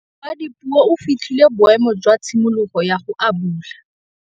Ngwana wa Dipuo o fitlhile boêmô jwa tshimologô ya go abula.